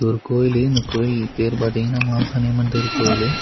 ஒரு கோயிலு அந்த கோயில் பேர் பாத்தீங்கன்னா மாசாணி அம்மன் தெரு கோயிலு.